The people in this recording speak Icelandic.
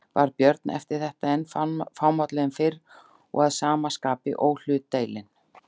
Varð Björn eftir þetta enn fámálli en fyrr og að sama skapi óhlutdeilinn.